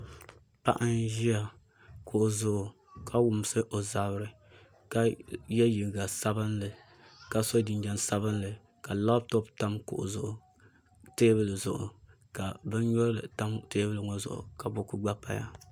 Paɣa n ʒi kuɣu zuɣu ka wumsi o zabiri ka yɛ liiga sabinli ka so jinjɛm sabinli ka labtop tam kuɣu zuɣu teebuli zuɣu ka bin nyurili tam teebuli ŋo zuɣu ka buku gba paya